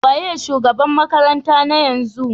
Wanene shugaban makarantar na yanzu?